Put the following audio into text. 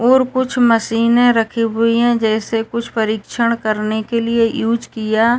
और कुछ मशीने रखी हुई हैं जैसे कुछ परिक्षण करने के लिए यूज़ किया --